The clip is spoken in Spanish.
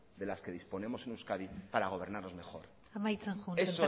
de las que disponemos en euskadi para gobernarnos mejor amaitzen sémper